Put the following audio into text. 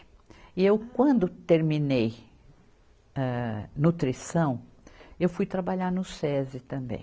E eu quando terminei, âh, nutrição, eu fui trabalhar no Sesi também.